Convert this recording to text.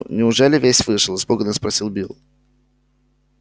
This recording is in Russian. неужели весь вышел испуганно спросил билл